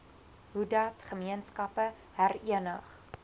hoedat gemeenskappe herenig